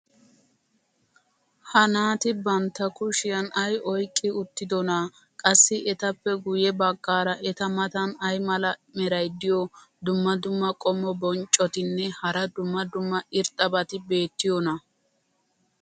ha naati bantta kushiyan ay oyqqi uttidonaa? qassi etappe guye bagaara eta matan ay mala meray diyo dumma dumma qommo bonccotinne hara dumma dumma irxxabati beetiyoonaa?